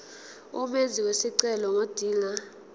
umenzi wesicelo ngodinga